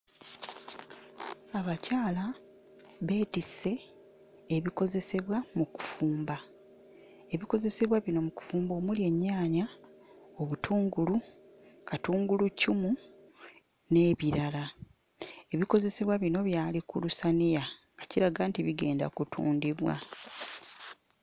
Abakyala beetisse ebikozesebwa mu kufumba, ebikozesebwa bino mu kufumba omuli ennyaanya, obutungulu, katunguluccumu n'ebirala. Ebikozesebwa bino byali ku lusaniya nga kiraga nti bigenda kutundibwa.